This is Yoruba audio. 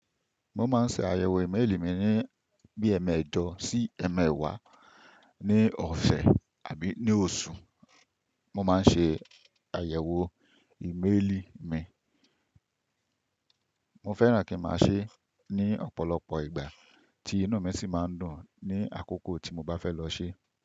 Mo máa ń ṣe àyẹ̀wò ìmélì mi ní bí ẹmẹ́ẹ̀jọ̀ sí ẹmẹ́wàá, ní ọ̀sẹ́ àbí ní oṣù, mo máa ń ṣe àyẹ̀wò ìmélì mi. Mo fẹ́ràn kí n máa ṣe é ní ọ̀pọ̀lọpọ̀ ìgbà tí inú mi sì máa ń dùn ní àkókò tí mo bá fẹ́ lọ ṣe é.